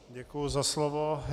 Děkuji za slovo.